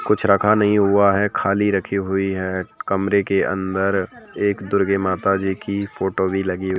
कुछ रखा नहीं हुआ है खाली रखी हुई है कमरे के अंदर एक दुर्गी माता जी की फोटो भी लगी हुई।